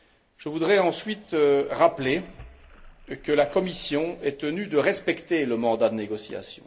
Je voudrais ensuite rappeler que la Commission est tenue de respecter le mandat de négociation.